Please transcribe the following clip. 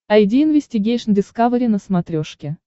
айди инвестигейшн дискавери на смотрешке